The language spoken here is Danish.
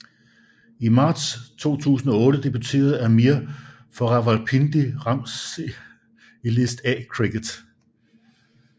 I marts 2008 debuterede Amir for Rawalpindi Rams i List A cricket